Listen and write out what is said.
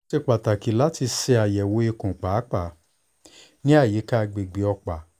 o ṣe pataki lati ṣayẹwo ikun paapaa ni ayika agbegbe ọpa